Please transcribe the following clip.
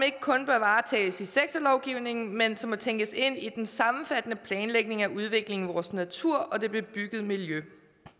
ikke kun bør varetages i sektorlovgivningen men som må tænkes ind i den sammenfattende planlægning af udvikling af vores natur og det bebyggede miljø